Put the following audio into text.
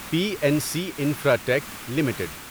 P N C infratech limited